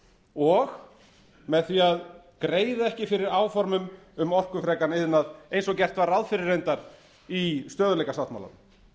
og með því að greiða ekki fyrir áformum um orkufrekan iðnað eins og gert var ráð fyrir reyndar í stöðugleikasáttmálanum